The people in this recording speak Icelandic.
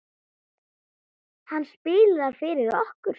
Hann spilaði fyrir okkur!